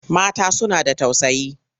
Mata suna da tausayi.